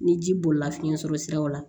Ni ji bolila fiɲɛ sɔrɔ siraw la